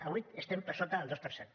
avui estem per sota del dos per cent